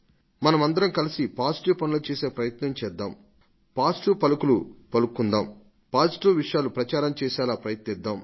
ఏదైనా సకారాత్మకమైనది చేయడానికి సకారాత్మకమైన మాటలు మాట్లాడడానికి సకారాత్మకమైన విషయాలను వ్యాప్తి లోకి తీసుకు రావడానికి మనం కలసి పాటు పడవలసివుంది